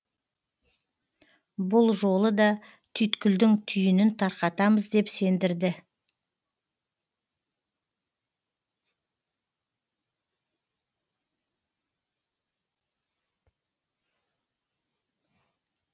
бұл жолы да түйткілдің түйінін тарқатамыз деп сендірді